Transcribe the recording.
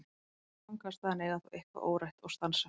Þau ganga af stað en eiga þó eitthvað órætt og stansa.